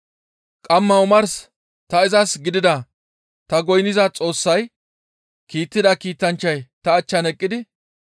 Qamma omars ta izas gidida ta goynniza Xoossay kiittida kiitanchchay ta achchan eqqidi,